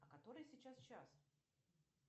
а который сейчас час